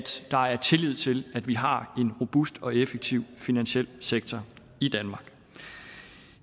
der er tillid til at vi har en robust og effektiv finansiel sektor i danmark